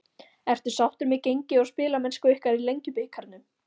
Ertu sáttur með gengi og spilamennsku ykkar í Lengjubikarnum?